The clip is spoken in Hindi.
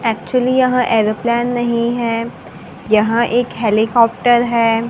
एक्चुअली यहं एयरोप्लेन नहीं हैं यहं एक हेलीकॉप्टर हैं।